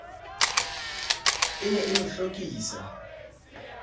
e ne e mo hlokisa